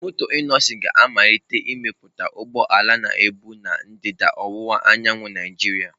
Moto Innoson ga-amalite imepụta ụgbọ ala na-ebu ndịda ọwụwa anyanwụ Naijiria.